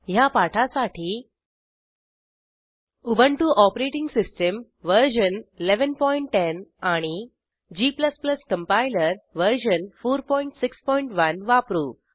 ह्या पाठासाठी Ubuntu OS version 1110 आणि g कंपाइलर वर्जन 461 वापरू